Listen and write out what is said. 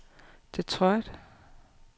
Detroit